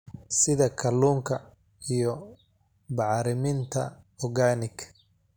sida kalluunka iyo bacriminta organic,.